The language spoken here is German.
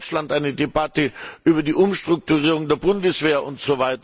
Wir haben in Deutschland eine Debatte über die Umstrukturierung der Bundeswehr usw.